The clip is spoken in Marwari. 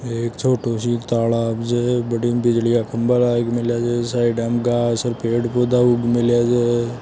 ये एक छोटू सी न तालाब है बठीन बिजली का खम्बा लाग मेलिया छे साइडां में घास और पेड़ पोधा उग मेलिया छे।